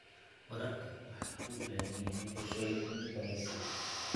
Waraabka waxa uu u baahan yahay qorshooyin cilmi baadhiseed.